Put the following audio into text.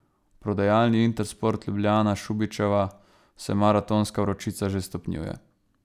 V prodajalni Intersport Ljubljana Šubičeva se maratonska vročica že stopnjuje.